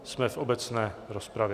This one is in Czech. Jsme v obecné rozpravě.